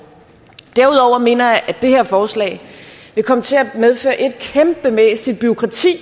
derudover mener jeg at det her forslag vil komme til at medføre et kæmpemæssigt bureaukrati